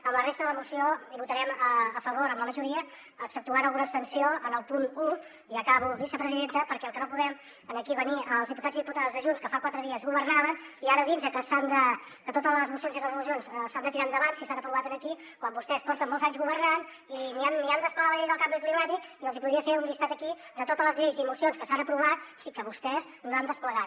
en la resta de la moció votarem a favor en la majoria exceptuant alguna abstenció en el punt un acabo vicepresidenta perquè el que no poden aquí venir els diputats i diputades de junts que fa quatre dies governaven ara a dir nos que totes les mocions i resolucions s’han de tirar endavant si s’han aprovat aquí quan vostès porten molts anys governant i ni han desplegat la llei del canvi climàtic i els hi podria fer un llistat aquí de totes les lleis i mocions que s’han aprovat i que vostès no han desplegat